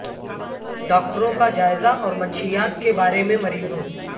ڈاکٹروں کا جائزہ اور منشیات کے بارے میں مریضوں